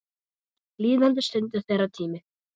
Líðandi stund er þeirra tími.